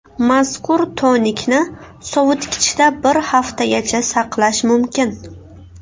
Mazkur tonikni sovitkichda bir haftagacha saqlash mumkin.